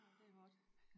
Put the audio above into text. Nej det er hårdt